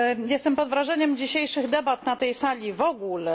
Jestem pod wrażeniem dzisiejszych debat na tej sali w ogóle.